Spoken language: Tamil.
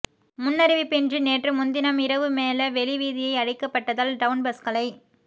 முன்னறிவிப்பின்றி நேற்று முன் தினம் இரவு மேல வெளி வீதியை அடைக்கப்பட்டதால் டவுன் பஸ்களை